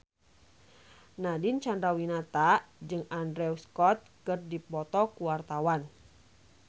Nadine Chandrawinata jeung Andrew Scott keur dipoto ku wartawan